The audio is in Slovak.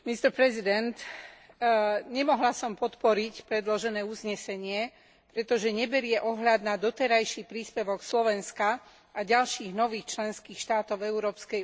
Nemohla som podporiť predložené uznesenie, pretože neberie ohľad na doterajší príspevok Slovenska a ďalších nových členských štátov Európskej únii k zníženiu emisií.